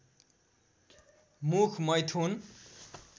मुख मैथुन